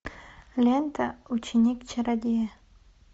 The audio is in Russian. лента ученик чародея